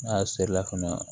N'a serila ka na